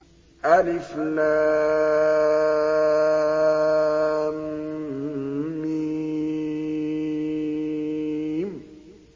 الم